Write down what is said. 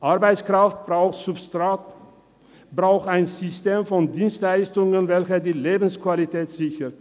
Arbeitskraft braucht Substrat, braucht ein System von Dienstleistungen, welches die Lebensqualität sichert.